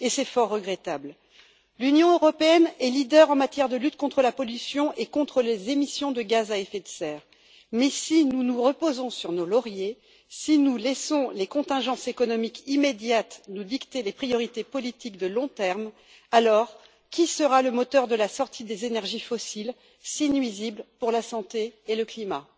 C'est fort regrettable. L'Union européenne est leader en matière de lutte contre la pollution et contre les émissions de gaz à effet de serre, mais si nous nous reposons sur nos lauriers, si nous laissons les contingences économiques immédiates nous dicter les priorités politiques à long terme, alors qui sera le moteur de la sortie des énergies fossiles si nuisibles pour la santé et le climat?